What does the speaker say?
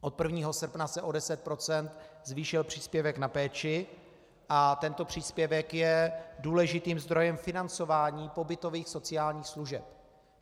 Od 1. srpna se o 10 % zvýšil příspěvek na péči a tento příspěvek je důležitým zdrojem financování pobytových sociálních služeb.